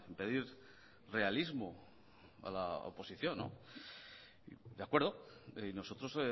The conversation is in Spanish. pedir realismo a la oposición de acuerdo y nosotros